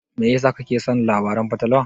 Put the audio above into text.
Me yasa kake son labaran fatalwa?